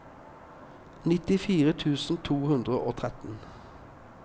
nittifire tusen to hundre og tretten